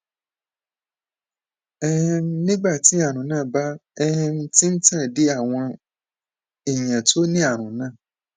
um nígbà tí àrùn náà bá um ti ń tàn dé àwọn èèyàn tó ní àrùn náà